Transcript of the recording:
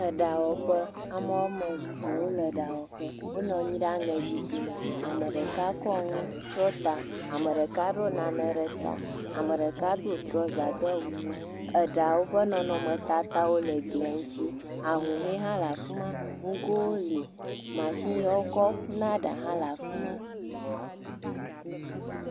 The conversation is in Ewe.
Eɖawɔƒe. Ame woame ve wole ɖawɔƒe. Wonɔ anyi ɖe aŋɛzikpi me. Ame ɖeka kɔ nu tsyɔta, ame ɖeka ɖɔ nane ɖe ta. Ame ɖeka do trɔza do awu ʋi. Eɖawo ƒe nɔnɔmetatawo le gia ŋtsi. Ahũhɔe hã ;e afi ma. Ŋugowo li. Mashini ya wokɔ ƒuna ɖa hã le afi ma